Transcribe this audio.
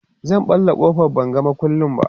zan ɓalla ƙofar ban ga maƙulli ba